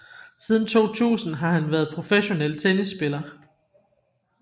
Siden 2000 har han været professionel tennispiller